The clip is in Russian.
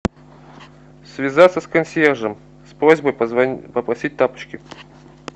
связаться с консьержем с просьбой попросить тапочки